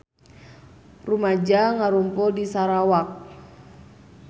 Rumaja ngarumpul di Sarawak